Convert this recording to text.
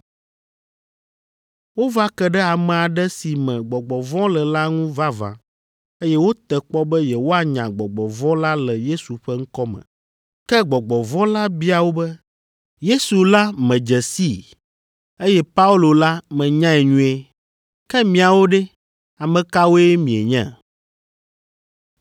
Wova ke ɖe ame aɖe si me gbɔgbɔ vɔ̃ le la ŋu vavã, eye wote kpɔ be yewoanya gbɔgbɔ vɔ̃ la le Yesu ƒe ŋkɔ me. Ke gbɔgbɔ vɔ̃ la bia wo be, “Yesu la medze sii eye Paulo la menyae nyuie, ke miawo ɖe, ame kawoe mienye?”